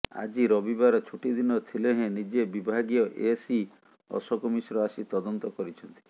ଆଜି ରବିବାର ଛୁଟିଦିନ ଥିଲେ ହେଁ ନିଜେ ବିଭାଗୀୟ ଏସ୍ଇ ଅଶୋକ ମିଶ୍ର ଆସି ତଦନ୍ତ କରିଛନ୍ତି